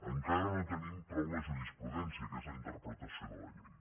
encara no tenim prou la jurisprudència que és la interpretació de la llei